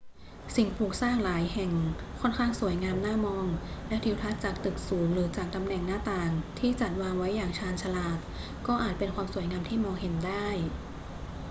สิ่งปลูกสร้างหลายแห่งค่อนข้างสวยงามน่ามอง และทิวทัศน์จากตึกสูงหรือจากตำแหน่งหน้าต่างที่จัดวางไว้อย่างชาญฉลาดก็อาจเป็นความสวยงามที่มองเห็นได้